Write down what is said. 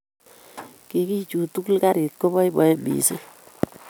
kigichut tugul karit keboiboen mising